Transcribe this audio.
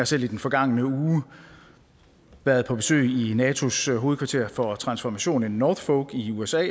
selv i den forgangne uge været på besøg i natos hovedkvarter for transformation i norfolk i usa og